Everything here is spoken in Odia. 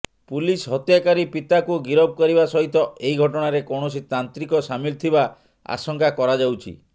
ପୁଲିସ ହତ୍ୟାକାରୀ ପିତାକୁ ଗିରଫ କରିବା ସହିତ ଏହି ଘଟଣାରେ କୌଣସି ତାନ୍ତ୍ରିକ ସାମିଲ ଥିବା ଆଶଙ୍କା କରାଯାଉଛି